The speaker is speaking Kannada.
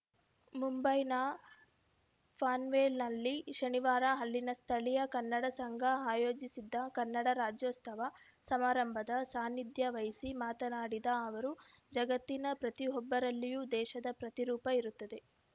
ಮುಂಬೈನ ಪನ್ವೆಲ್‌ನಲ್ಲಿ ಶನಿವಾರ ಅಲ್ಲಿನ ಸ್ಥಳಿಯ ಕನ್ನಡ ಸಂಘ ಆಯೋಜಿಸಿದ್ದ ಕನ್ನಡ ರಾಜ್ಯೋತ್ಸವ ಸಮಾರಂಭದ ಸಾನ್ನಿಧ್ಯ ವಹಿಸಿ ಮಾತನಾಡಿದ ಅವರು ಜಗತ್ತಿನ ಪ್ರತಿಯೊಬ್ಬರಲ್ಲಿಯೂ ದೇವರ ಪ್ರತಿರೂಪ ಇರುತ್ತದೆ